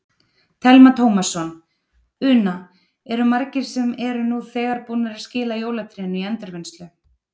Telma Tómasson: Una, eru margir sem eru nú þegar búnir að skila jólatrénu í endurvinnslu?